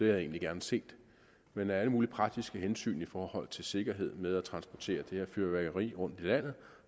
jeg egentlig gerne set men med alle mulige praktiske hensyn i forhold til sikkerhed med at transportere det her fyrværkeri rundt i landet